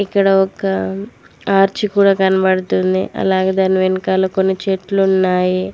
ఇక్కడ ఒక ఆర్చి కూడా కనబడుతుంది అలాగే దాని వెనకాల కొన్ని చెట్లు ఉన్నాయి.